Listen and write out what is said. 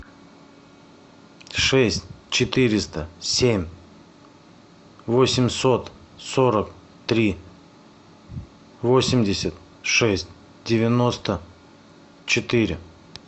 шесть четыреста семь восемьсот сорок три восемьдесят шесть девяносто четыре